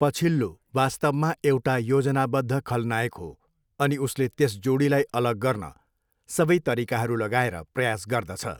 पछिल्लो वास्तवमा एउटा योजनाबद्ध खलनायक हो अनि उसले त्यस जोडीलाई अलग गर्न सबै तरिकाहरू लगाएर प्रयास गर्दछ।